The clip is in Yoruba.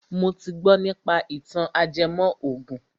Mo ti gbọ nípa ìtàn ajẹmọ ògùn